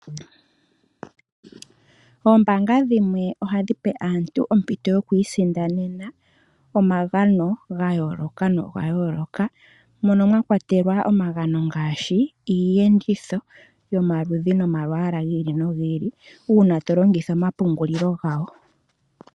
Oombaanga dhimwe ohadhipe aantu ompito yoku isindanena omagano gayooloka nogayooloka, mono mwakwatelwa omagano ngaashi, iiyenditho yomaludhi nomalwaala gi ili nogi ili uuna tolongitha omapungulilo gawo.